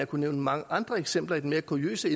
kunne nævne mange andre eksempler i den mere kuriøse